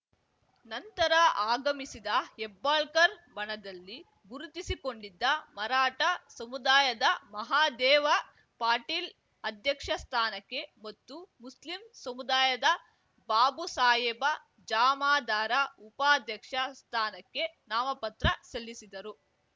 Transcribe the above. ನಂತರ ಆಗಮಿಸಿದ ಹೆಬ್ಬಾಳ್ಕರ್ ಬಣದಲ್ಲಿ ಗುರುತಿಸಿಕೊಂಡಿದ್ದ ಮರಾಠ ಸಮುದಾಯದ ಮಹಾದೇವ ಪಾಟೀಲ್ ಅಧ್ಯಕ್ಷ ಸ್ಥಾನಕ್ಕೆ ಮತ್ತು ಮುಸ್ಲಿಂ ಸಮುದಾಯದ ಬಾಬುಸಾಹೇಬ ಜಮಾದಾರ ಉಪಾಧ್ಯಕ್ಷ ಸ್ಥಾನಕ್ಕೆ ನಾಮಪತ್ರ ಸಲ್ಲಿಸಿದರು